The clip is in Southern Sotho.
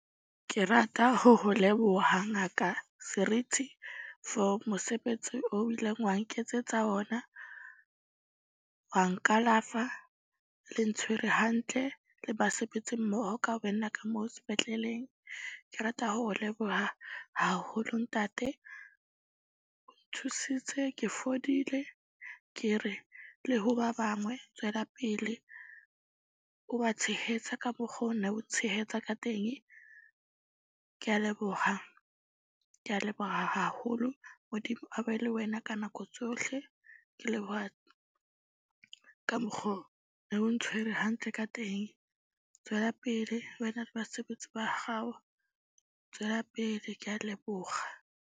Ke rata ho ho leboha Ngaka Serithi for mosebetsi o ileng wa nketsetsa ona. Wa nkalafa le ntshwere hantle le basebetsi mmoho ka wena ka moo sepetleleng. Ke rata ho leboha haholo ntate. O nthusitse ke fodile ke re le ho ba bangwe tswelapele, o ba tshehetsa ka mokgo nna o tshehetsa ka teng. Ke a leboha. Ke a leboha haholo. Modimo a be le wena ka nako tsohle, ke leboha ka mokgo ne o ntshwere hantle ka teng. Tswela pele wena le basebetsi ba gao tswela pele, Ke a leboga.